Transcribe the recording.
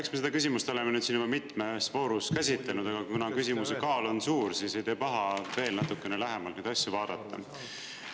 Eks me seda küsimust oleme nüüd siin juba mitmes voorus käsitlenud, aga kuna küsimuse kaal on suur, siis ei tee paha veel natuke lähemalt neid asju vaadata.